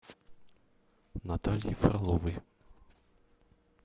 натальи фроловой